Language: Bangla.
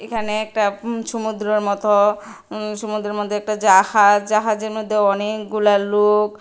এখানে একটা ইম ছমুদ্রের মতো ইম সমুদ্রের মধ্যে একটা জাহাজ জাহাজের মধ্যে অনেকগুলা লোক।